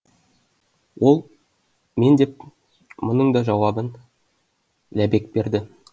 ол мен деп мұның да жауабын ләбек берді